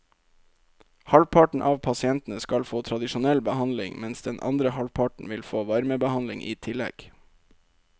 Halvparten av pasientene skal få tradisjonell behandling, mens den andre halvparten vil få varmebehandling i tillegg.